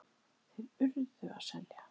Þeir URÐU að selja.